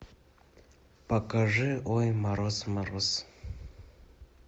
покажи ой мороз мороз